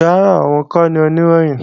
Rárá, òun kọ́ ni Oníròyìn